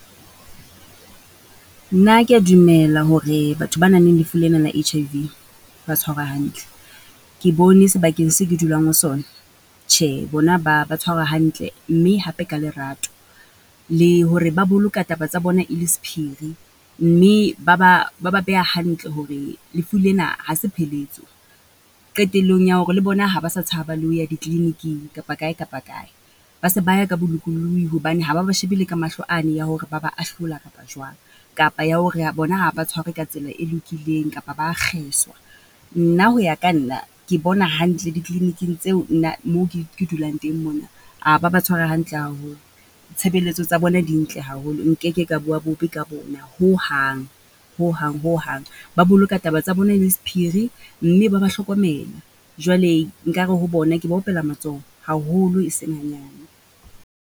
Nna ke ya dumela hore batho ba nang le lefu lena la H_I_V ba tshwarwa hantle. Ke bone sebakeng se ke dulang ho sona, tjhe bona ba ba tshwarwa hantle mme hape ka lerato. Le hore ba boloka taba tsa bona e le sephiri mme ba ba, ba ba beha hantle hore lefu lena ha se pheletso, qetellong ya hore le bona ha ba sa tshaba le ho ya diklibiking kapa kae kapa kae. Ba se ba ya ka bolokollohi hobane ha ba ba shebe le ka mahlo a ne ya hore ba ba ahlola kapa jwang. Kapa ya hore bona ha ba tshwarwe ka tsela e lokileng, kapa ba a kgeswa. Nna ho ya ka nna, ke bona hantle dikliniking tseo nna moo ke ke dulang teng mona, ha ba ba hantle haholo. Tshebelletso tsa bona di ntle haholo. Nkeke ka bua bobe ka bona hohang, hohang hohang, ba boloka taba tsa bona e le sephiri mme ba ba hlokomela. Jwale nkare ho bona ke ba opela matsoho haholo, e seng hanyane.